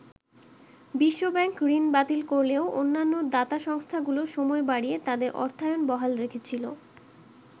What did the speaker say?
বিশ্ব ব্যাংক ঋণ বাতিল করলেও অন্যান্য দাতা সংস্থাগুলো সময় বাড়িয়ে তাদের অর্থায়ন বহাল রেখেছিল।